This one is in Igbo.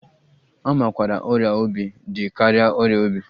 A makwaara ọrịa obi dị ka ọrịa obi.